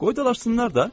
Qoy dalaşsınlar da.